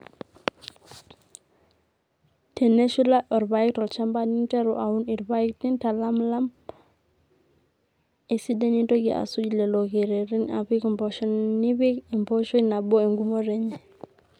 teneshula orpaek tolchamba ninterru aun irpaek nintalamilam esidai nintoki asuj lelo kerrerin apik impoosho nipik empooshoi nabo eng'umoto enye